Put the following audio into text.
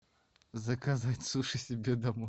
заказать суши себе домой